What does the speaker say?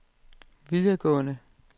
videregående